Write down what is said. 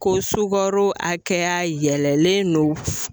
Ko sugaro hakɛya yɛlɛlen don